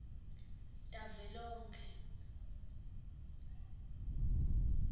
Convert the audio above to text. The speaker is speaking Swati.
tavelonkhe